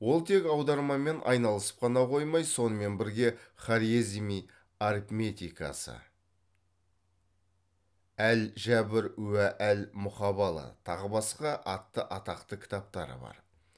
ол тек аудармамен айналысып қана қоймай сонымен бірге хорезми арифметикасы әл жәбр уә л мұқабала тағы басқа атты атақты кітаптары бар